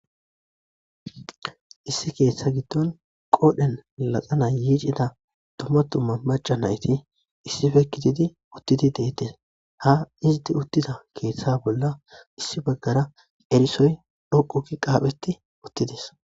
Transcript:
issi keeththa giddon qoodhen laxana yiicida tumatumma maca nayti issife kitidi uttidi deettes ha iziti uttida keeththa bolla issi baggara erisoy dhoquki qaapheti uttides